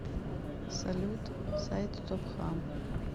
салют сайт стопхам